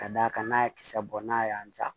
Ka d'a kan n'a ye kisɛ bɔ n'a y'a ja